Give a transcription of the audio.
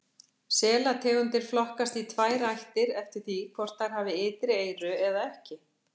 Selategundir flokkast í tvær ættir eftir því hvort þær hafa ytri eyru eða ekki.